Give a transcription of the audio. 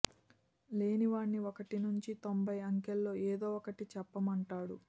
లేని వాడ్ని ఒకటి నుంచి తొంభై అంకెల్లో ఏదో ఒక్కటి చెప్పమంటాడు